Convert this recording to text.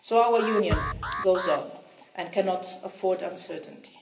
So our Union goes on and cannot afford uncertainty.